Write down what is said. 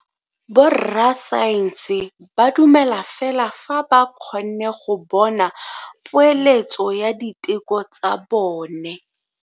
Borra saense ba dumela fela fa ba kgonne go bona poeletso ya diteko tsa bone.